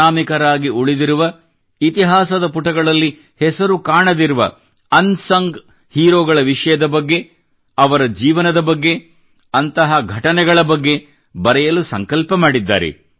ಅನಾಮಿಕರಾಗಿ ಉಳಿದಿರುವ ಇತಿಹಾಸದ ಪುಟಗಳಲ್ಲಿ ಹೆಸರು ಕಾಣದಿರುವ ಅನ್ಸಂಗ್ ಹೀರೋಗಳ ವಿಷಯದ ಬಗ್ಗೆ ಅವರ ಜೀವನದ ಬಗ್ಗೆ ಅಂತಹ ಘಟನೆಗಳ ಬಗ್ಗೆ ಸ್ವಲ್ಬ ಬರೆಯಲು ಸಂಕಲ್ಪ ಮಾಡಿದ್ದಾರೆ